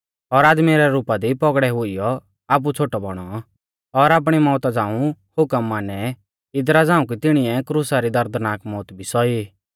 और आदमी रै रुपा दी पौगड़ै हुइयौ आपु छ़ोटौ बौणौ और आपणी मौउता झ़ाऊं हुकम मानै इदरा झ़ाऊं कि तिणीऐ क्रुसा री दर्दनाक मौउत भी सौई